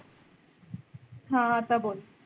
हां आत्ता बोल.